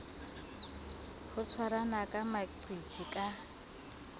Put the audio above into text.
ho tshwarana ka maqiti ka